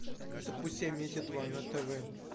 запусти амедиа два на тв